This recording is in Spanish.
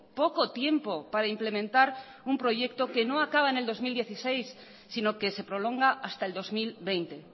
poco tiempo para implementar un proyecto que no acaba en el dos mil dieciséis sino que se prolonga hasta el dos mil veinte